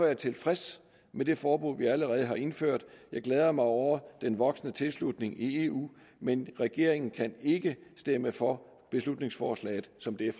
jeg tilfreds med det forbud vi allerede har indført jeg glæder mig over den voksende tilslutning i eu men regeringen kan ikke stemme for beslutningsforslaget som det er